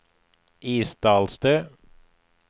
Isdalstø